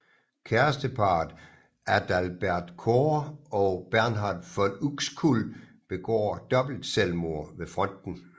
Kæresteparret Adalbert Cohr og Bernhard von Uxkull begår dobbeltselvmord ved fronten